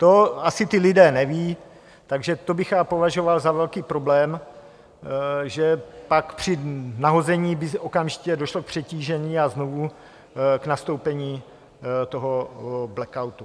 To asi ti lidé nevědí, takže to bych já považoval za velký problém, že pak při nahození by okamžitě došlo k přetížení a znovu k nastoupení toho blackoutu.